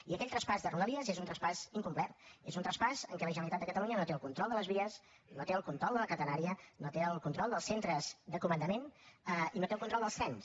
i aquell traspàs de rodalies és un traspàs incomplet és un traspàs en què la generalitat de catalunya no té el control de les vies no té el control de la catenària no té el control dels centres de comandament i no té el control dels trens